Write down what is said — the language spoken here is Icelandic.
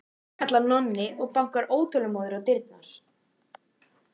kallar Nonni og bankar óþolinmóður á dyrnar.